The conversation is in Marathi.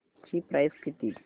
ची प्राइस किती